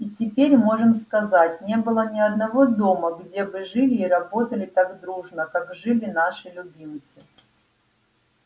и теперь можем сказать не было ни одного дома где бы жили и работали так дружно как жили наши любимцы